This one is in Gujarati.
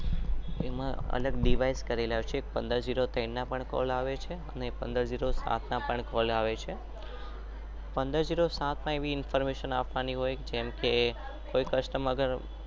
એમાં અલગ દીવૈસ કરેલા છે. પંદર જેટલા સ્તાફ્ફ ના કોલ આવે છે